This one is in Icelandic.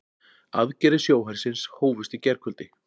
Aðgerðir sjóhersins hófust í gærkvöldi